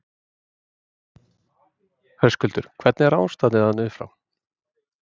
Höskuldur: Hvernig er ástandið þarna upp frá?